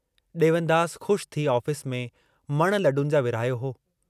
डेवनदास ख़ुश थी ऑफिस में मण लडुनि जा विरहायो हो।